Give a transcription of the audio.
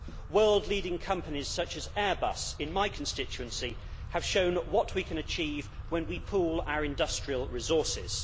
world leading companies such as Airbus in my constituency have shown what we can achieve when we pool our industrial resources.